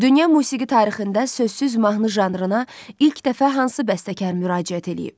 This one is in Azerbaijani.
Dünya musiqi tarixində sözsüz mahnı janrına ilk dəfə hansı bəstəkar müraciət eləyib?